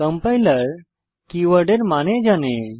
compiler keywords এর মানে জানে